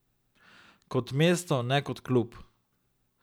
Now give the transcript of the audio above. Kot mesto, ne kot klub.